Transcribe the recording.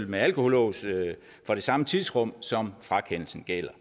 med alkolås for det samme tidsrum som frakendelsen gælder